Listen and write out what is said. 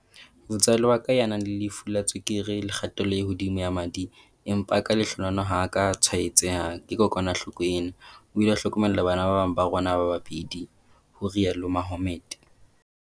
Motswalle wa ka, ya nang le lefu la tswekere le kgatello e hodimo ya madi empa ka lehlohonolo ha a ka a tshwaetseha ke kokwanahloko ena, o ile a hlokomela bana ba bang ba rona ba babedi, o rialo Mohammed.